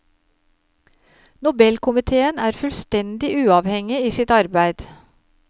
Nobelkomiteen er fullstendig uavhengig i sitt arbeid.